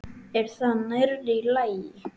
Er það nærri lagi?